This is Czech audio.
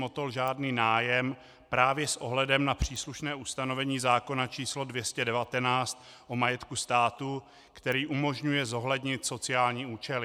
Motol žádný nájem právě s ohledem na příslušné ustanovení zákona č. 219 o majetku státu, který umožňuje zohlednit sociální účely.